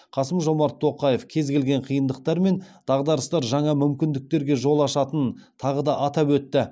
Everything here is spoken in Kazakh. қасым жомарт тоқаев кез келген қиындықтар мен дағдарыстар жаңа мүмкіндіктерге жол ашатынын тағы да атап өтті